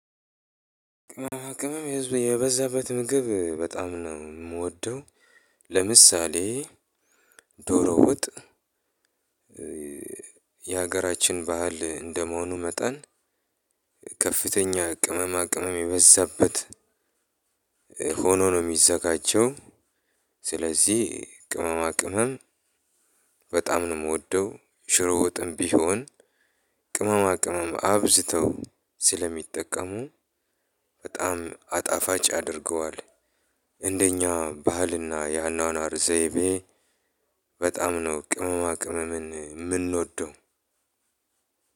ቅመማቅመም የበዛበት ምግብ በጣም ነው የምወደው። ለምሳሌ ዶሮ ወጥ። የሀገራችን ባህል እንደመሆኑ መጠን ከፍተኛ ቅመማ ቅመም የበዛበት ሆኖ ነው የሚዘጋጀው። ስለዚህ ቅመማ ቅመም በጣም ነው ምወደው። ሽሮ ወጥም ቢሆን ቅመማ ቅመም አብዝተው ስለሚጠቀሙ በጣም አጣፋጭ ያደርገዋል። እንደኛ ባህልና የአኗኗር ዘይቤ በጣም ነው ቅመማ ቅመምን ምንወደው።